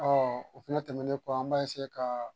o fɛnɛ tɛmɛnen kɔ an b'a ka